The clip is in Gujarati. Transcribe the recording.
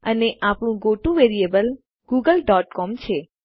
અને આપણું goto variable Google dot C O M છે